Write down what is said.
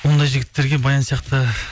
ондай жігіттерге баян сияқты